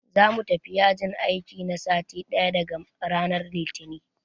Za mu tafi yajin aiki na sati ɗaya daga ranan Litinin.